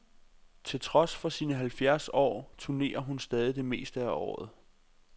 Til trods for sine halvfjerds år turnerer hun stadig det meste af året.